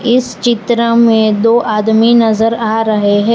इस चित्र में दो आदमी नजर आ रहे हैं।